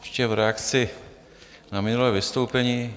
Ještě v reakci na minulé vystoupení.